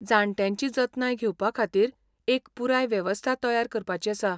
जाण्ट्यांची जतनाय घेवपा खातीर एक पुराय वेवस्था तयार करपाची आसा.